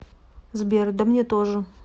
сбер да мне тоже